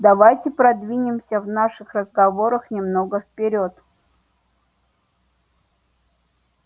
давайте продвинемся в наших разговорах немного вперёд